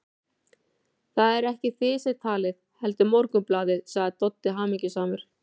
Það eruð ekki þið sem talið, heldur Morgunblaðið, sagði Doddi hamingjusamur.